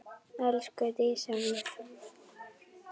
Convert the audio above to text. Elsku Dísa mín.